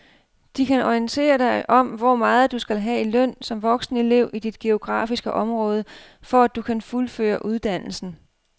De kan orientere dig om hvor meget du skal have i løn som voksenelev i dit geografiske område, for at du kan fuldføre uddannelsen.